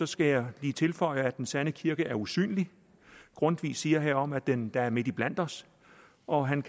skal jeg lige tilføje at den sande kirke er usynlig grundtvig siger herom at den er midt iblandt os og han